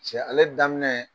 Cɛ ale daminɛ